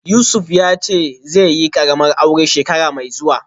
Yusuf yace zaiyi karamar aure shekara mai zuwa